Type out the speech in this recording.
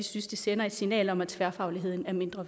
synes det sender et signal om at tværfagligheden er mindre